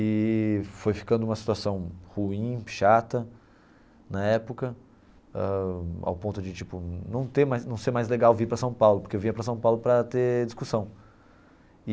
E foi ficando uma situação ruim, chata na época, ãh ao ponto de tipo não ter mais não ser mais legal vir para São Paulo, porque eu vinha para São Paulo para ter discussão.